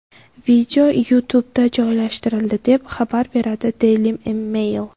Video YouTube’da joylashtirildi, deb xabar beradi Daily Mail.